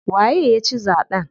Waye ya ci zaɓen?